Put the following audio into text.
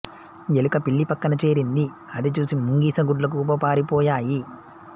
ఎలుక పిల్లి పక్కన చేరింది అది చూసి ముంగిస గుడ్లగూబ పారి పోయాయి